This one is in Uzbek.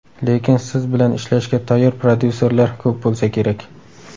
Lekin siz bilan ishlashga tayyor prodyuserlar ko‘p bo‘lsa kerak?